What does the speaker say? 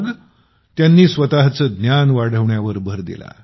मग असेच त्यांनी स्वतःचे ज्ञान वाढवण्यावर भर दिला